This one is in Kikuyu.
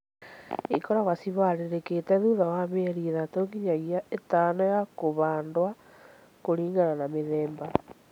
Īkoragwo ciĩ harĩrĩkĩte thutha wa mĩeri ĩtatũ nginyagia ĩtano ya kũhandwo kũringana na mĩthemba